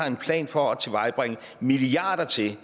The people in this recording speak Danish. en plan for at tilvejebringe milliarder til